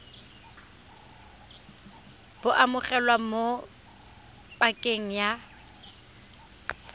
bo amogelwa mo pakeng ya